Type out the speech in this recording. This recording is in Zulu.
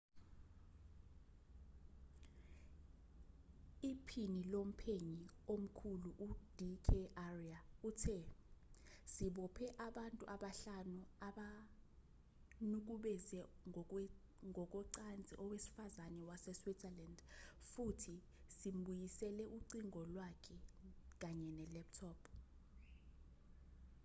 iphini lomphenyi omkhulu ud k arya uthe sibophe abantu abahlanu abanukubeze ngokocansi owesifazane waseswitzerland futhi simbuyisele ucingo lwakhe kanye ne-laptop